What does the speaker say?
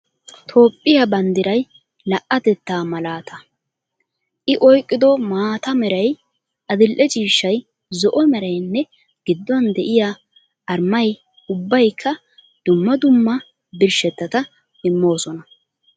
Toophphiya banddiray la'atettaa malaata. I oyqqido maata meray, adil'e ciishshay, zo'o meraynne gidduwan de'iya armay ubbaykka dumma dumma birshshettata immoosona.